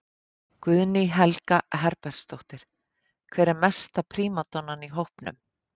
Guðný Helga Herbertsdóttir: Hver er mesta prímadonnan í hópnum?